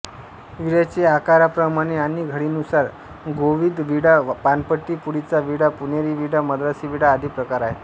विड्याचे आकाराप्रमाणे आणि घडीनुसार गोविदविडा पानपट्टी पुडीचा विडा पुणेरी विडा मद्रासी विडा आदी प्रकार आहेत